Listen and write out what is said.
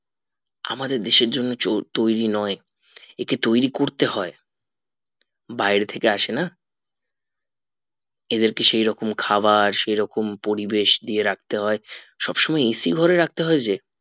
আমাদের দেশের জন্য তৈরী নোই একে তৈরী করতে হয় বাইরে থেকে আসে না এদের কে সেই রকম খাবার সেই রকম পরিবেশ দিয়ে রাখতে হয় সব সময় AC ঘরে রাখতে হয় যে